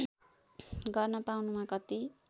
गर्न पाउनमा कति